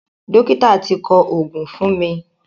Dọ́kítà ti kọ òògùn fún mi.